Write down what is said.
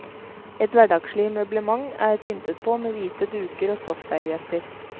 Et hverdagslig møblement er pyntet på med hvite duker og stoffservietter.